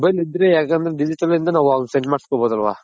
mobile ಇದ್ರೆ ಯಾಕಂದ್ರೆ Digital ಇಂದ ನಾವ್ ಅವ್ನಗ್ send ಮಾಡ್ಸ್ಕೊನ್ ಬೋದಲ್ವ.